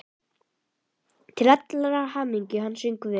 Til allrar hamingju söng hann vel!